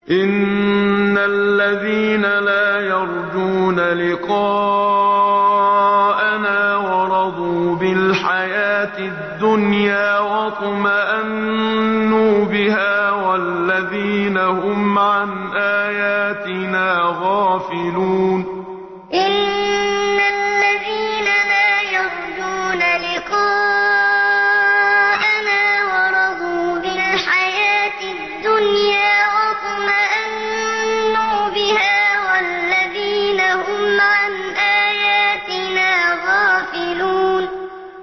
إِنَّ الَّذِينَ لَا يَرْجُونَ لِقَاءَنَا وَرَضُوا بِالْحَيَاةِ الدُّنْيَا وَاطْمَأَنُّوا بِهَا وَالَّذِينَ هُمْ عَنْ آيَاتِنَا غَافِلُونَ إِنَّ الَّذِينَ لَا يَرْجُونَ لِقَاءَنَا وَرَضُوا بِالْحَيَاةِ الدُّنْيَا وَاطْمَأَنُّوا بِهَا وَالَّذِينَ هُمْ عَنْ آيَاتِنَا غَافِلُونَ